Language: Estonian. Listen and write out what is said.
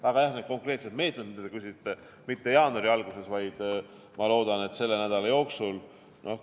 Aga jah, need konkreetsed meetmed, mille kohta te küsisite, ei tule mitte jaanuari alguses, vaid ma loodan, et selle nädala jooksul.